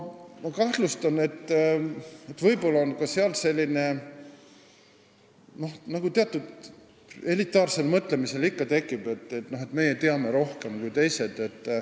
Ma kahtlustan, et siin võib olla ka seda, mis eliidi mõtlemises ikka tekib – meie teame rohkem kui teised.